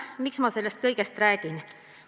Miks ma sellest kõigest räägin?